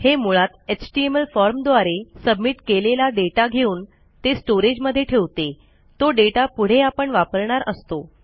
हे मुळात एचटीएमएल फॉर्मद्वारे सबमिट केलेला डेटा घेऊन ते स्टोरेज मध्ये ठेवते तो डेटा पुढे आपण वापरणार असतो